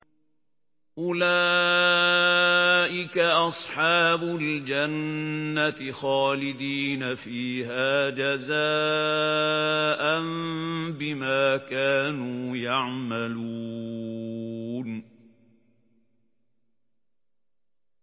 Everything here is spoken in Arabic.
أُولَٰئِكَ أَصْحَابُ الْجَنَّةِ خَالِدِينَ فِيهَا جَزَاءً بِمَا كَانُوا يَعْمَلُونَ